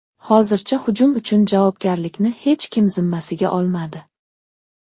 Hozircha hujum uchun javobgarlikni hech kim zimmasiga olmadi.